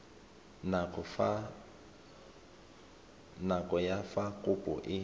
nako ya fa kopo e